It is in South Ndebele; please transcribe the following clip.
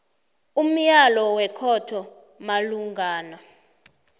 umyalo wekhotho malungana